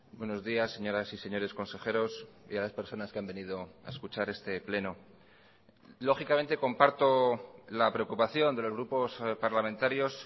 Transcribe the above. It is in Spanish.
buenos días señoras y señores consejeros y a las personas que han venido a escuchar este pleno lógicamente comparto la preocupación de los grupos parlamentarios